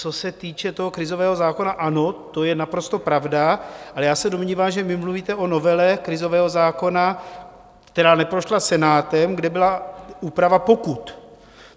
Co se týče toho krizového zákona, ano, to je naprosto pravda, ale já se domnívám, že vy mluvíte o novele krizového zákona, která neprošla Senátem, kde byla úprava pokut.